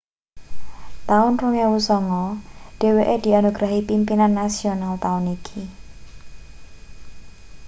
taun 2009 dheweke dianugrahi pimpinan nasional taun iki